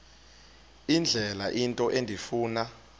indlela into endifuna